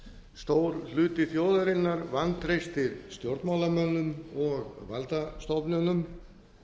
stór hluti þjóðarinnar vantreystir stjórnmálamönnum og valdastofnunum